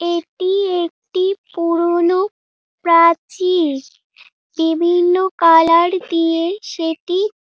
এটি একটি পুরনো প্রাচীর বিভিন্ন কালার দিয়ে সেটি--